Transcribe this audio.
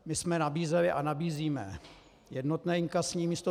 My jsme nabízeli a nabízíme jednotné inkasní místo.